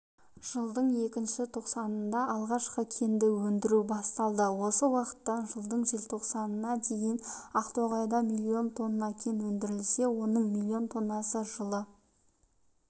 жылдың екінші тоқсанында алғашқы кенді өндіру басталды осы уақыттан жылдың желтоқсанына дейін ақтоғайда миллион тонна кен өндірілсе оның миллион тоннасы жылы